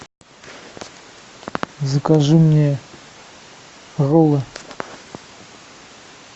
закажи мне роллы